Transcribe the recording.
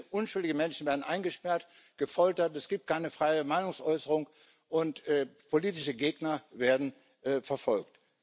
Unschuldige Menschen werden eingesperrt, gefoltert, es gibt keine freie Meinungsäußerung, und politische Gegner werden verfolgt.